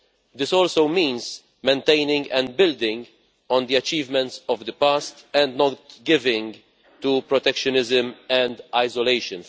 This also means maintaining and building on the achievements of the past and not giving in to protectionism and isolation.